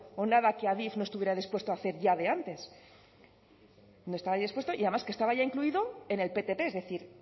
o nada que adif no estuviera dispuesto a hacer ya de antes no estaba dispuesto y además que estaba ya incluido en el ptp es decir